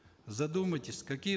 задумайтесь какие